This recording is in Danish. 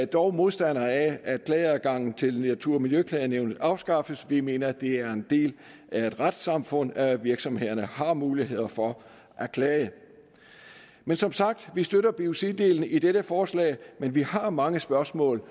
dog modstandere af at klageadgangen til natur og miljøklagenævnet afskaffes vi mener at det er en del af et retssamfund at virksomhederne har muligheder for at klage men som sagt vi støtter biociddelen i dette forslag men vi har mange spørgsmål